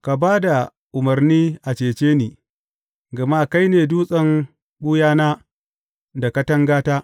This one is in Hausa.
Ka ba da umarni a cece ni, gama kai ne dutsen ɓuyana da katangata.